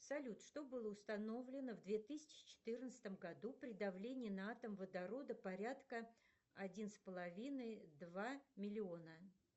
салют что было установлено в две тысячи четырнадцатом году при давлении на атом водорода порядка один с половиной два миллиона